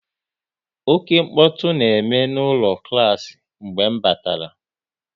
Oké mkpọtụ na-eme n'ụlọ klas mgbe m batara